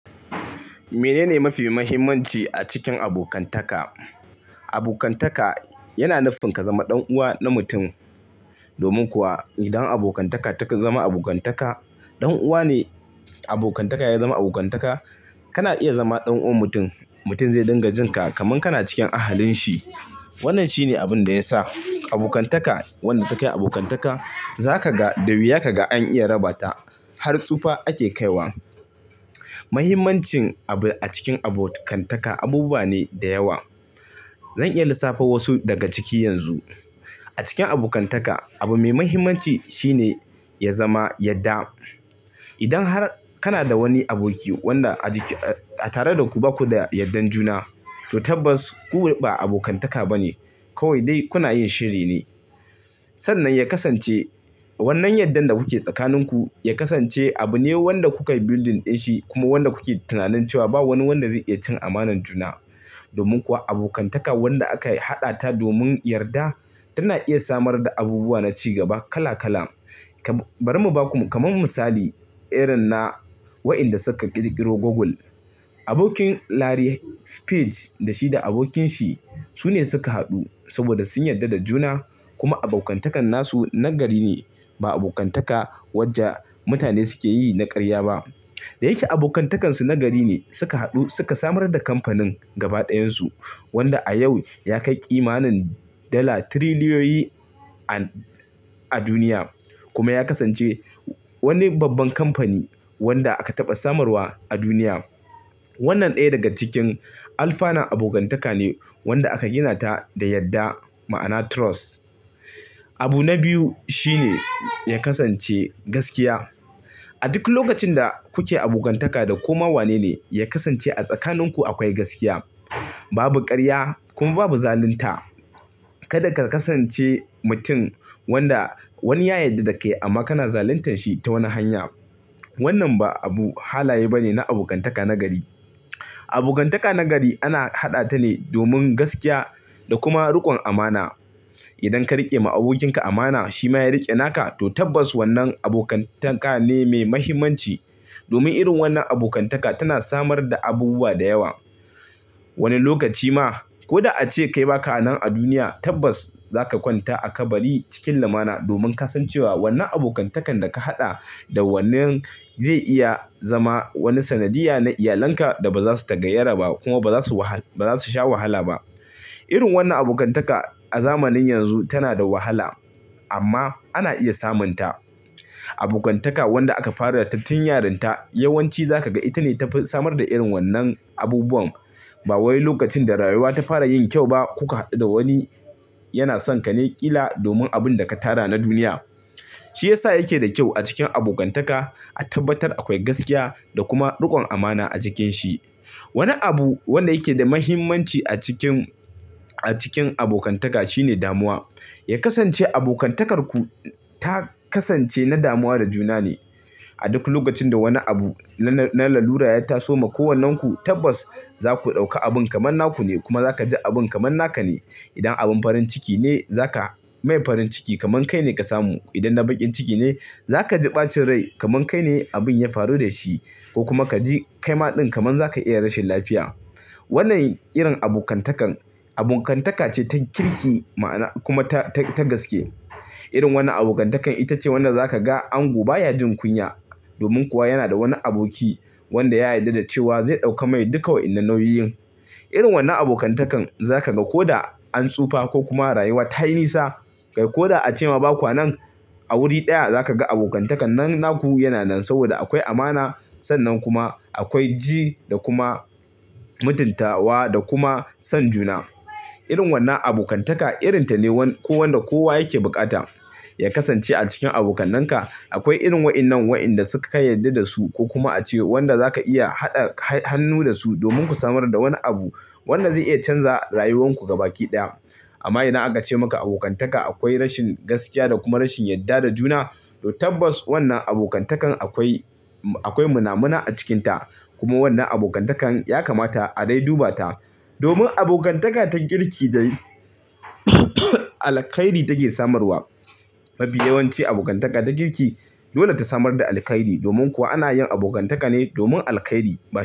Menene mafi muhimmanci a cikin abokantaka? Abokantaka yana nufin ka zama ɗan uwa na mutum. Domin kuwa idan abokantaka ta zama abokantaka, ɗan uwa ne. Abokantaka ya zama abokantaka. Kana iya zama ɗan uwan mutum. Mutum zai dinga jin ka kaman kana cikin ahalin shi. Wannan shine abin da ya sa abokantaka wanda ta kai abokantaka, za ka ga da wuya ka ga an iya raba ta. Har tsufa ake kai wa. Muhimmancin abu a cikin abokantaka abubuwa ne da yawa. Zan iya lissafa wasu daga ciki yanzu. A cikin abokantaka, abu mai muhimmanci shine ya zama yadda. Idan har kana da wani aboki wanda a tare da ku ba ku da yardar juna, to tabbas ku ba abokantaka ba ne. Kawai dai kuna yin shiri ne. Sannan ya kasance wannan yardan da kuke tsakaninku, ya kasance abu ne wanda kukai building din shi kuma wanda kuke tunanin cewa ba wani wanda zai iya cin amanar juna. Domin kuwa abokantaka wanda aka haɗa ta domin yarda tana iya samar da abubuwa na ci gaba kala kala. Bari mu baku kamar misali, irin na waɗanda suka ƙirƙiro Google. Abokin Larry Page da shi da abokinsa su ne suka haɗu saboda sun yarda da juna. Kuma abokantakan nasu na gari ne, ba abokantaka wacce mutane suke yi na ƙarya ba. Da yake abokantakansu na gari ne, suka haɗu suka samar da kamfanin gaba ɗayansu, wanda a yau ya kai ƙimanin dala tiriliyoyi a duniya. Kuma ya kasance wani babban kamfani wanda aka taɓa samarwa a duniya. Wannan ɗaya daga cikin alfanan abokantaka ne wanda aka gina ta da yarda, ma'ana trust. Abu na biyu shine ya kasance gaskiya. A duk lokacin da kuke abokantaka da kowa wane ne, ya kasance a tsakaninku akwai gaskiya. Babu ƙarya kuma babu zalunta. Kada ka kasance mutum wanda wani ya yadda da kai amma kana zaluntan shi ta wani hanya. Wannan ba abu halaye ba ne na abokantaka na gari. Abokantaka na gari ana haɗa ta ne domin gaskiya da kuma riƙon amana. Idan ka riƙe ma abokinka amana, shi ma ya riƙe naka, to tabbas wannan abokantaka ne mai muhimmanci. Domin irin wannan abokantaka tana samar da abubuwa da yawa. Wani lokaci ma ko da ace kai ba ka anan a duniya, tabbas za ka kwanta a kabari cikin lumana domin ka san cewa wannan abokantakan da ka haɗa da wannan zai iya zama wani sanadiyya na iyalanka da ba za su tagayyara ba kuma ba za su sha wahala ba. Irin wannan abokantaka a zamanin yanzu tana da wahala, amma ana iya samun ta. Abokantaka wanda aka fara tattun yarinta, yawanci za ka ga ita ne ta samar da irin wannan abubuwan. Ba wani lokacin da rayuwa ta fara yin kyau ba kuka haɗu da wani yana son ka ne ƙila domin abin da ka tara na duniya. Shi ya sa yake da kyau a cikin abokantaka a tabbatar akwai gaskiya da kuma riƙon amana a cikin shi. Wani abu wanda yake da muhimmanci a cikin, a cikin abokantaka shine damuwa. Ya kasance abokantakarku ta kasance na damuwa da juna ne. A duk lokacin da wani abu na lallura ya taso ma kowannenku, tabbas za ku ɗauka abin kamar naku ne kuma za ka ji abin kamar naka ne. Idan abin farin ciki ne, za ka mai farin ciki kamar kai ne ka samu. Idan na bakin ciki ne, za ka ji ɓacin rai kamar kai ne abin ya faru da shi ko kuma ka ji kaima din kamar za ka iya rashin lafiya. Wannan irin abokantaka, abokantaka ce ta kirki kuma ta gaske. Irin wannan abokantakan ita ce wanda za ka ga ango baya jin kunya domin kuwa yana da wani aboki wanda ya yarda da cewa zai ɗauka mai duka wa'innan nauyoyin. Irin wannan abokantaka za ka ga ko da an tsufa ko kuma rayuwa ta yi nisa, kai ko da ace ma ba kwa nan, a wuri ɗaya za ka ga abokantakan nan naku yana nan saboda akwai amana. Sannan kuma akwai ji da kuma mutuntawa da kuma son juna. Irin wannan abokantaka irinta ne wanda kowa yake buƙata. Ya kasance a cikin abokannanka akwai irin waɗannan waɗanda suka yi yarda da su ko kuma ace wanda za ka iya haɗa hannu da su domin ku samar da wani abu wanda zai iya canza rayuwarku gaba ɗaya. Amma ina ace maka abokantaka akwai rashin gaskiya da kuma rashin yarda da juna, to tabbas wannan abokantakan akwai, akwai muna muna a cikinta. Kuma wannan abokantakan ya kamata a dai duba ta. Domin abokantaka ta kirki da alkhairi take samarwa. Mafi yawanci abokantaka ta kirki dole ta samar da alkhairi. Domin kuwa ana yin abokantaka ne domin alkhairi ba tare.